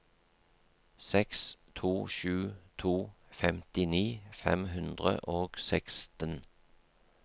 seks to sju to femtini fem hundre og seksten